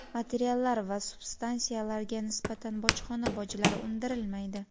materiallar va substansiyalarga nisbatan bojxona bojlari undirilmaydi.